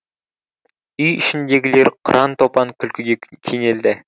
үй ішіндегілер қыран топан күлкіге кенелді